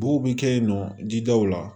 Bow bi kɛ yen nɔ didaw la